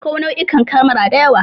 Akwai nau'ikan kemara da yawa.